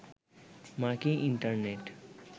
মার্কিন ইন্টারনেট